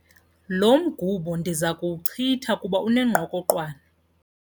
Lo mgubo ndiza kuwuchitha kuba unengqokoqwane.